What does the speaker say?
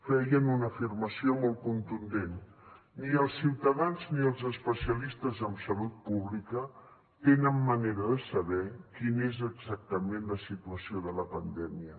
feien una afirmació molt contundent ni els ciutadans ni els especialistes en salut pública tenen manera de saber quina és exactament la situació de la pandèmia